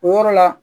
O yɔrɔ la